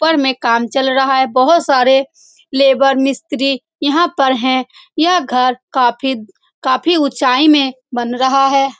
ऊपर में काम चल रहा है बहोत सारे लेबर मिस्त्री यहां पर है यह घर काफी काफी ऊंचाई में में बन रहा है।